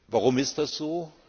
Warum ist das so?